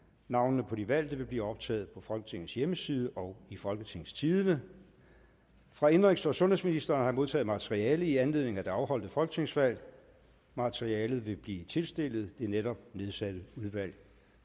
navnene på de valgte vil blive optaget på folketingets hjemmeside og i folketingstidende fra indenrigs og sundhedsministeren modtaget materiale i anledning af det afholdte folketingsvalg materialet vil blive tilstillet det netop nedsatte udvalg